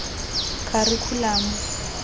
kharikhulamo